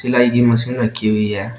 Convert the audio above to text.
सिलाई की मशीन रखी हुई है।